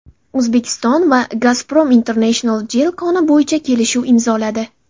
O‘zbekiston va Gazprom International Jel koni bo‘yicha kelishuv imzoladi.